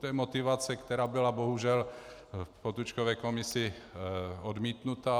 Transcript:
To je motivace, která byla bohužel v Potůčkově komisi odmítnuta.